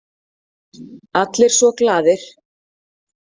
Allir svo glaðir.